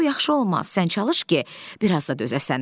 Bu yaxşı olmaz, sən çalış ki, biraz da dözəsən.